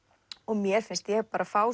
mér finnst ég fá